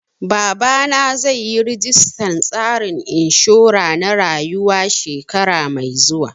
Babana zai yi registan tsarin inshura na rayuwa shekara mai zuwa